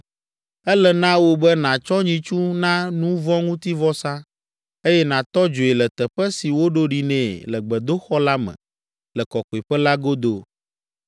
Ele na wò be nàtsɔ nyitsu na nu vɔ̃ ŋuti vɔsa, eye nàtɔ dzoe le teƒe si woɖo ɖi nɛ le gbedoxɔ la me le kɔkɔeƒe la godo.